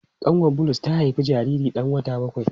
Kanwar Bulus ta haifi jariri dan wata bakwai.